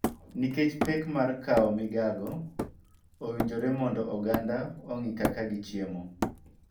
Nikech pek mar kao migago, owinjore mondo oganda ong'i kaka gichiemo.